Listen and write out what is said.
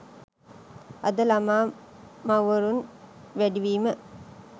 අද ළමා මවුවරුන් වැඩිවීම